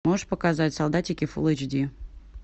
можешь показать солдатики фулл эйч ди